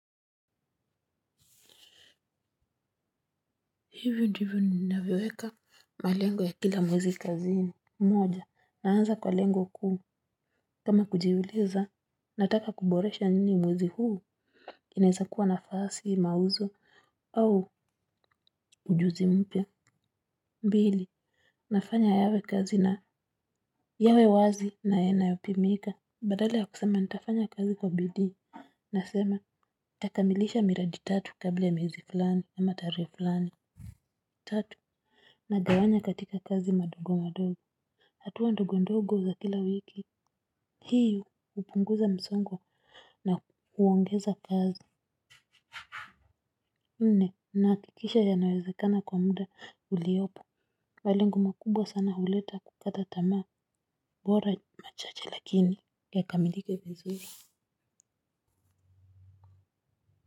Hivi ndivu ninaweweka malengo ya kila mwezi kazini. Moja naanza kwa lengo kuu kama kujiuliza nataka kuboresha nini mwezi huu. Kineza kuwa nafasi mauzo au ujuzi mpia. Mbili nafanya yawe kazi na yawe wazi na yanayo pimika. Badala ya kusema nitafanya kazi kwa bidii nasema nitakamilisha miradi tatu kabla ya miezi fulani ya tarehe fulani tatu nagawanya katika kazi madogo madogo hatuwa ndogo ndogo za kila wiki hii hupunguza msongo na huongeza kazi mne nahakikisha yanawezekana kwa muda uliopo malengo makubwa sana huleta kukata tamaa bora machache lakini yakamilike vizuri.